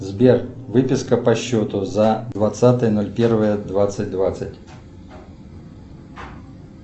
сбер выписка по счету за двадцатое ноль первое двадцать двадцать